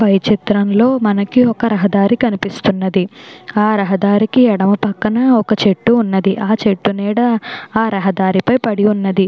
Hi చిత్రంలో మనకి ఒక రహదారి కనిపిస్తూ ఉన్నది ఆ రహదారికి ఎడమ పక్కన ఒక చెట్టు ఉన్నది ఆ చెట్టు నీడ ఆ రహదారికి మీద పడి వున్నది.